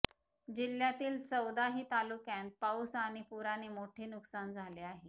जिल्यातील चौदाही तालुक्यांत पाऊस आणि पुराने मोठे नुकसान झाले आहे